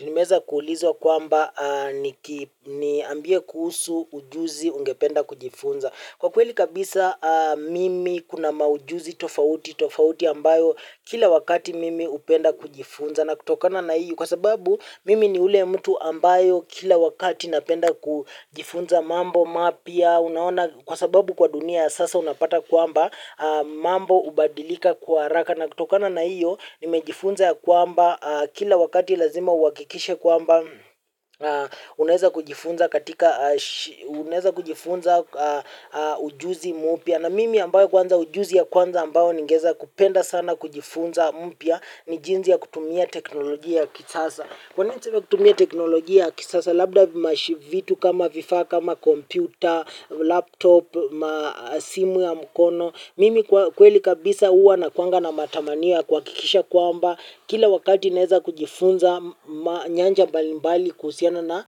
Nimeweza kuulizwa kwamba niambie kuhusu ujuzi ungependa kujifunza. Kwa kweli kabisa mimi kuna maujuzi tofauti, tofauti ambayo kila wakati mimi hupenda kujifunza. Na kutokana na iyo kwa sababu mimi ni ule mtu ambayo kila wakati napenda kujifunza mambo mapya unaona kwa sababu kwa dunia ya sasa unapata kwamba mambo hubadilika kwa haraka. Na kutokana na hiyo, nimejifunza ya kwamba, kila wakati lazima uhakikishe kwamba, unaeza kujifunza katika unaeza kujifunza ujuzi mpya. Na mimi ambayo kwanza ujuzi ya kwanza ambayo ningeeza kupenda sana kujifunza mpya, ni jinsi ya kutumia teknolojia ya kisasa. Kwanini niseme kutumia teknolojia ya kisasa, labda vimashivitu kama vifaa, kama kompyuta, laptop, simu ya mkono. Mimi kweli kabisa huwa nakuwanga na matamanio ya kuhakikisha kwamba kila wakati naeza kujifunza nyanja mbali mbali kuhusiana na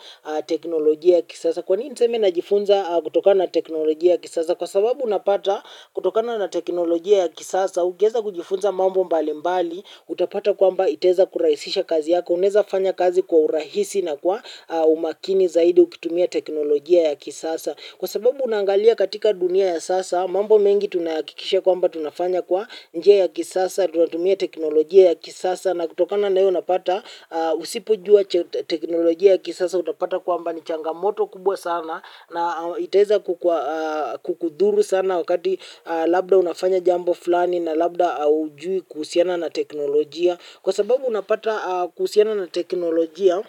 teknolojia ya kisasa. Kwanini niseme najifunza kutoka na teknolojia ya kisasa. Kwa sababu unapata kutokana teknolojia ya kisasa. Ukieza kujifunza mambo mbali mbali. Utapata kwamba itaeza kurahisisha kazi yako. Unaeza fanya kazi kwa urahisi na kwa umakini zaidi. Ukitumia teknolojia ya kisasa kwa sababu unaangalia katika dunia ya sasa. Mambo mengi tunahakikisha kwamba tunafanya kwa njia ya kisasa, tunatumia teknolojia ya kisasa. Na kutokana na hio unapata usipojua teknolojia ya kisasa utapata kwamba ni changamoto kubwa sana. Na itaeza kukudhuru sana wakati labda unafanya jambo fulani na labda hujui kuhusiana na teknolojia. Kwa sababu unapata kuhusiana na teknolojia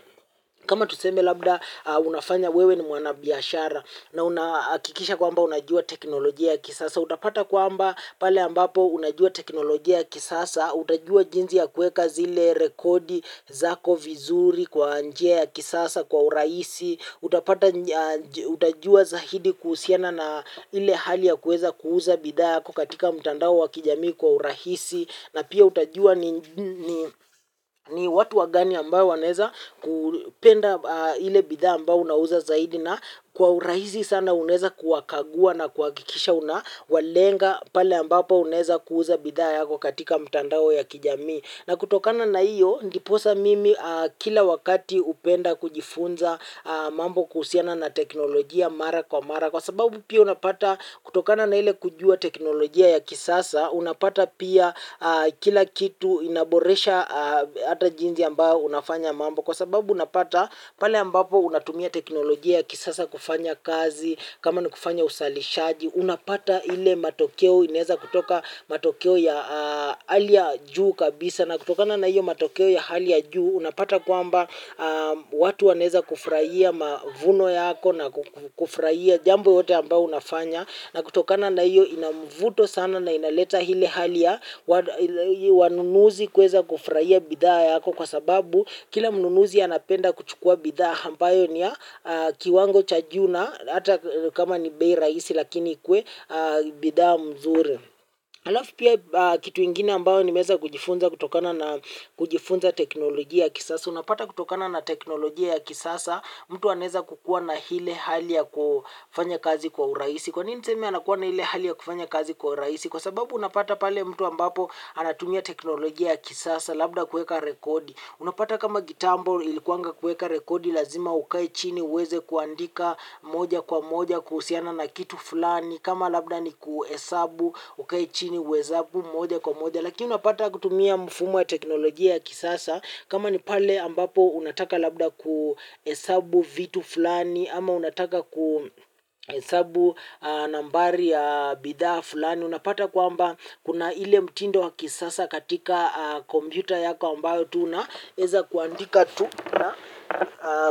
kama tuseme labda unafanya wewe ni mwana biashara. Na unahakikisha kwamba unajua teknolojia ya kisasa, utapata kwamba pale ambapo unajua teknolojia ya kisasa, utajua jinsi ya kueka zile rekodi, zako vizuri kwa njia ya kisasa kwa urahisi, utapata utajua zaidi kuhusiana na ile hali ya kuweza kuuza bidha hapo katika mtandao wa kijamii kwa urahisi. Na pia utajua ni watu wagani ambao wanaeza kupenda ile bidha ambao unauza zaidi na kwa urahisi sana unaeza kuwakagua na kuhakikisha unawalenga pale ambapo unaeza kuuza bidha zako katika mtandao ya kijamii. Na kutokana na iyo, ndiposa mimi kila wakati hupenda kujifunza mambo kuhusiana na teknolojia mara kwa mara. Kwa sababu pia unapata kutokana na ile kujua teknolojia ya kisasa, unapata pia kila kitu inaboresha hata jinsi ambao unafanya mambo. Kwa sababu unapata pale ambapo unatumia teknolojia ya kisasa kufanya kazi, kama nikufanya uzalishaji. Unapata ile matokeo inaeza kutoka matokeo ya hali ya juu kabisa na kutokana na hiyo matokeo ya hali ya juu unapata kwamba watu wanaeza kufurahia mavuno yako na kufurahia jambo yote ambao unafanya na kutokana na hiyo inamvuto sana na inaleta ile hali ya wanunuzi kueza kufurahia bidhaa yako kwa sababu kila mnunuzi anapenda kuchukua bidhaa. Ampayo ni ya kiwango cha juu na hata kama ni bei rahisi lakini ikuwe bidhaa mzuri. Alafu pia kitu ingine ambayo nimeeza kujifunza kutokana na kujifunza teknolojia ya kisasa. Unapata kutokana na teknolojia ya kisasa mtu anaeza kukuwa na ile hali ya kufanya kazi kwa urahisi. Kwa nini niseme anakuwa na ile hali ya kufanya kazi kwa urahisi? Kwa sababu unapata pale mtu ambapo anatumia teknolojia ya kisasa labda kueka rekodi. Unapata kama kitambo ilikuwanga kueka rekodi lazima ukae chini uweze kuandika moja kwa moja kuhusiana na kitu fulani. Kama labda ni kuhesabu ukae chini uhesabu moja kwa moja. Lakini unapata kutumia mfumo ya teknolojia ya kisasa. Kama ni pale ambapo unataka labda kuhesabu vitu fulani ama unataka kuhesabu nambari ya bidhaa fulani unapata kwamba kuna ile mtindo wa kisasa katika kompyuta yako ambao tu una eza kuandika tu na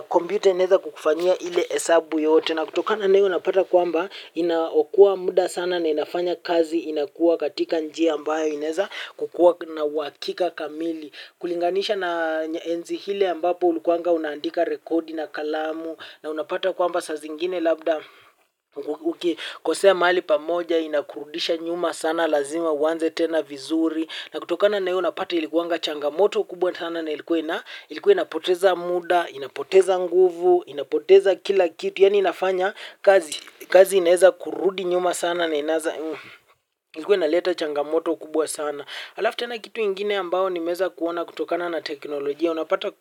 kompyuta inaeza kukufanyia ile hesabu yote na kutokana na iyo unapata kwamba inaokoa muda sana na inafanya kazi inakuwa katika njia ambayo inaeza kukuwa na uhakika kamili kulinganisha na enzi hile ambapo ulikuwanga unaandika rekodi na kalamu na unapata kwamba saa zingine labda ukikosea mahali pamoja inakurudisha nyuma sana lazima uanze tena vizuri na kutokana na hio unapata ilikuwanga changamoto kubwa sana na ilikuwa inapoteza muda, inapoteza nguvu, inapoteza kila kitu yani inafanya kazi kazi inaeza kurudi nyuma sana na inaanza ilikuwa inaleta changamoto kubwa sana alafu tena kitu ingine ambao nimeeza kuona kutokana na teknolojia unapata.